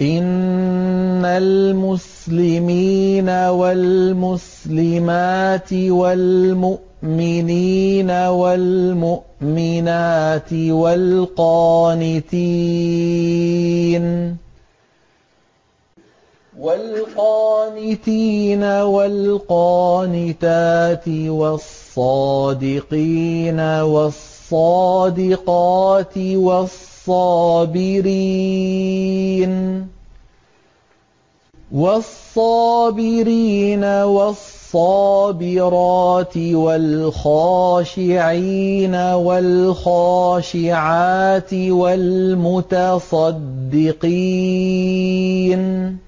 إِنَّ الْمُسْلِمِينَ وَالْمُسْلِمَاتِ وَالْمُؤْمِنِينَ وَالْمُؤْمِنَاتِ وَالْقَانِتِينَ وَالْقَانِتَاتِ وَالصَّادِقِينَ وَالصَّادِقَاتِ وَالصَّابِرِينَ وَالصَّابِرَاتِ وَالْخَاشِعِينَ وَالْخَاشِعَاتِ وَالْمُتَصَدِّقِينَ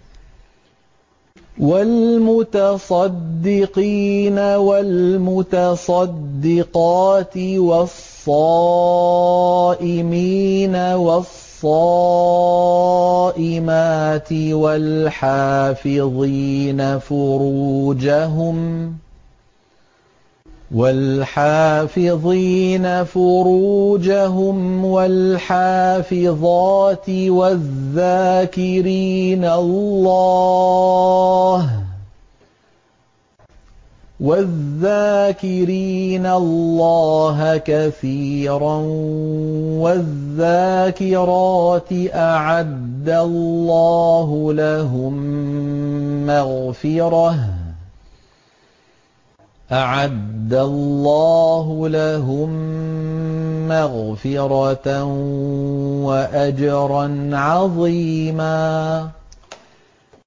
وَالْمُتَصَدِّقَاتِ وَالصَّائِمِينَ وَالصَّائِمَاتِ وَالْحَافِظِينَ فُرُوجَهُمْ وَالْحَافِظَاتِ وَالذَّاكِرِينَ اللَّهَ كَثِيرًا وَالذَّاكِرَاتِ أَعَدَّ اللَّهُ لَهُم مَّغْفِرَةً وَأَجْرًا عَظِيمًا